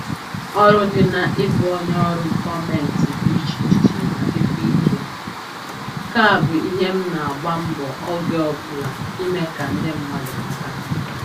Ọrụ dị na-ịbụ onye ọrụ gọọmentị dị iche iche ma dịkwa ike, nke a bụ ihe m na-agba mbọ oge ọbụla ime ka ndị mmadụ mata